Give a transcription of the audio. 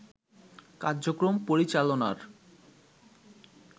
কার্যক্রম পরিচালনার